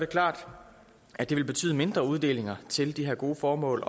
klart at det vil betyde mindre uddelinger til de her gode formål